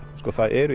sko það eru